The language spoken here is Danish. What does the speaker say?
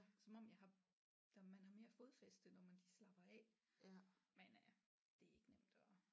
Som om jeg har der man har mere fodfæste når man lige slapper af men øh det er ikke nemt at